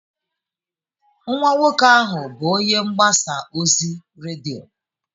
Nwa nwoke ahụ bụ onye mgbasa ozi redio.